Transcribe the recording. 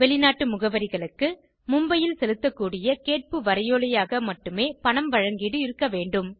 வெளிநாட்டு முகவரிகளுக்கு மும்பையில் செலுத்தக்கூடிய கேட்பு வரைவோலையாக மட்டுமே பணம் வழங்கீடு இருக்கவேண்டும்